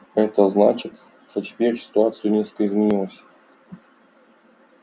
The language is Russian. это значит что теперь ситуация несколько изменилась